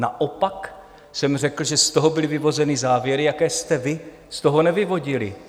Naopak jsem řekl, že z toho byly vyvozeny závěry, jaké jste vy z toho nevyvodili.